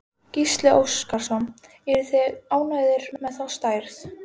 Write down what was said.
Gísli Óskarsson: Eruð þið ánægðir með þá stærð?